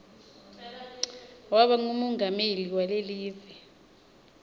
waba ngumongameli walekive